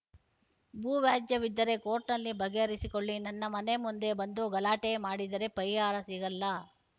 ಭೂವ್ಯಾಜ್ಯವಿದ್ದರೆ ಕೋರ್ಟ್‌ನಲ್ಲಿ ಬಗೆಹರಿಸಿಕೊಳ್ಳಿ ನನ್ನ ಮನೆ ಮುಂದೆ ಬಂದು ಗಲಾಟೆ ಮಾಡಿದರೆ ಪರಿಹಾರ ಸಿಗಲ್ಲ